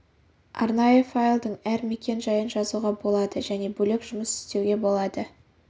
арнайы файлдың әр мекен-жайын жазуға болады және бөлек жұмыс істеуге болады